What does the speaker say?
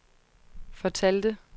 fortalte